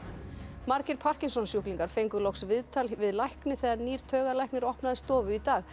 margir parkinsonssjúklingar fengu loks viðtal við lækni þegar nýr taugalæknir opnaði stofu í dag